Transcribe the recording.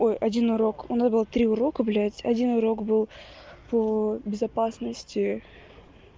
ой один урок у нас было три урока блядь один урок был по безопасности